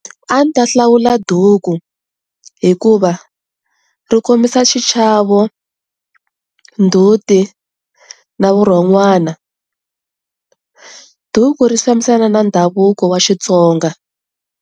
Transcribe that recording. A ndzi ta hlawula duku hikuva ri kombisa xichavo ndzhuti na vurhon'wana. Duku ri fambisana na ndhavuko wa Xitsonga.